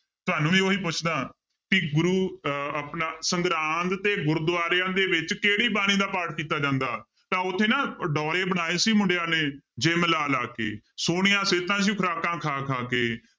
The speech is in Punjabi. ਤੁਹਾਨੂੰ ਵੀ ਉਹੀ ਪੁੱਛਦਾਂ ਕਿ ਗੁਰੂ ਅਹ ਆਪਣਾ ਸੰਗਰਾਂਦ ਤੇ ਗੁਰਦੁਆਰਿਆਂ ਦੇ ਵਿੱਚ ਕਿਹੜੀ ਬਾਣੀ ਦਾ ਪਾਠ ਕੀਤਾ ਜਾਂਦਾ, ਤਾਂ ਉੱਥੇ ਨਾ ਉਹ ਡੋਰੇ ਬਣਾਏ ਸੀ ਮੁੰਡਿਆਂ ਨੇ gym ਲਾ ਲਾ ਕੇ ਸੋਹਣੀਆਂ ਸਿਹਤਾਂ ਸੀ ਖੁਰਾਕਾਂ ਖਾ ਖਾ ਕੇ